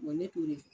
ne t'o de kɛ